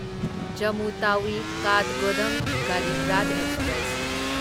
Jammu Tawi Kathgodam Garib Rath express